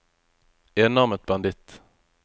enarmet banditt